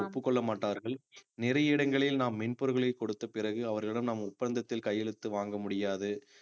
ஒப்புக்கொள்ள மாட்டார்கள் நிறைய இடங்களில் நாம் மென்பொருள்களை கொடுத்த பிறகு அவர்களிடம் நாம் ஒப்பந்தத்தில் கையெழுத்து வாங்க முடியாது